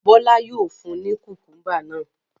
Bọ́lá yóò fun ní kùkúḿbà náà.